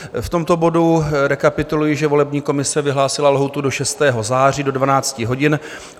V tomto bodu rekapituluji, že volební komise vyhlásila lhůtu do 6. září do 12 hodin.